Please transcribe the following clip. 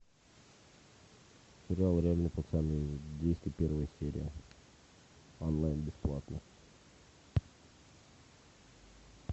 сериал реальные пацаны двести первая серия онлайн бесплатно